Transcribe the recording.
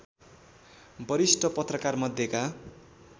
वरिष्ठ पत्रकारमध्येका